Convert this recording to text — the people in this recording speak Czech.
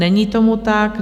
Není tomu tak.